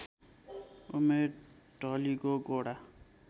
उमेर ढलिगो गोडा